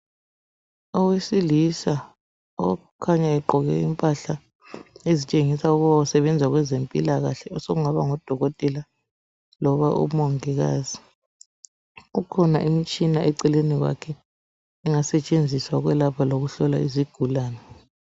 Owesilisa okhanya egqoke impahla ezitshengisa ukuba usebenza kweze mpilakahle ,osokungaba ngudokotela loba umongikazi kukhona imitshina eceleni kwakhe engasetshenziswa ukwelapha lokuhlola izigulani.